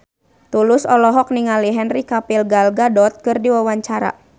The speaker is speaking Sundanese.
Tulus olohok ningali Henry Cavill Gal Gadot keur diwawancara